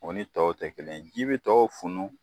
O ni tɔw tɛ kelen ɲe, ji bɛ tɔw funu.